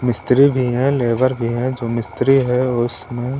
मिस्त्री भी है लेबर भी है जो मिस्त्री है उस--